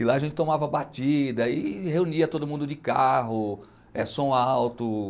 E lá a gente tomava batida e reunia todo mundo de carro, é som alto.